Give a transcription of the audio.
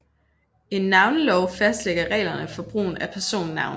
En navnelov fastlægger reglerne for brugen af personnavne